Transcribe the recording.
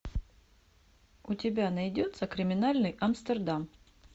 у тебя найдется криминальный амстердам